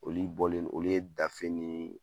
Olu bɔlen olu ye dafe ni